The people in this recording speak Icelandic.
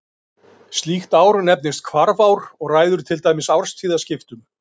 Slíkt ár nefnist hvarfár og ræður til dæmis árstíðaskiptum.